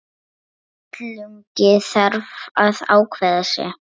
Illugi þarf að ákveða sig.